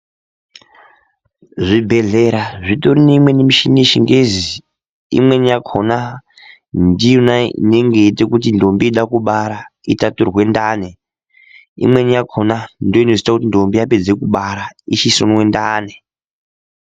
Zvibhedhlera zvitori neimweni michini yechingezi. Imweni yakhona ndiyona inenge yeiite kuti ndombi yeide kubara itaturwe ndani. Imweni yakhona ndiyo inozoite kuti ndombi yapedze kubara ichisonwe ndani.